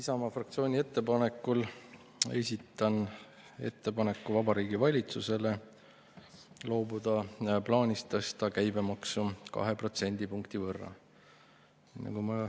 Isamaa fraktsiooni ettepanekul esitan ettepaneku Vabariigi Valitsusele loobuda plaanist tõsta käibemaksu kahe protsendipunkti võrra.